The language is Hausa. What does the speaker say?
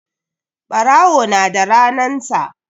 Ɓarawo na da ranan sa